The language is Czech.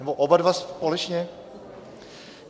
Nebo oba dva společně?